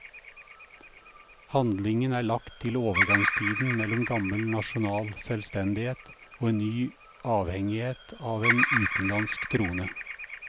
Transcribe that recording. Handlingen er lagt til overgangstiden mellom gammel nasjonal selvstendighet og en ny avhengighet av en utenlandsk trone.